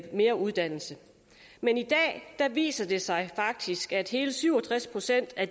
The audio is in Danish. mere uddannelse men i dag viser det sig faktisk at hele syv og tres procent af